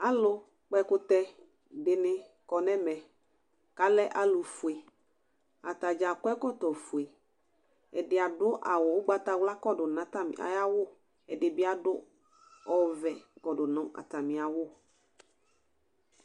Alʋ kpɔ ɛkʋtɛ dɩnɩ kɔ nʋ ɛmɛ kʋ alɛ alʋ fueAtadza akɔ ɛkɔtɔ fue, ɛdɩ adʋ awʋ ʋgatawla kɔdʋ nʋ ayawʋ ɛdɩ bɩ adʋ ɔvɛ kɔdʋ nʋ atamɩawʋ